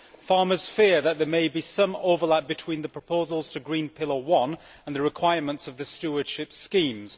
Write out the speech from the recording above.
Farmers fear that there might be some overlap between the proposals to green pillar one and the requirements of the stewardship schemes.